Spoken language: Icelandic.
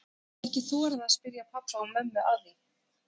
Ég hafði ekki þorað að spyrja pabba og mömmu að því.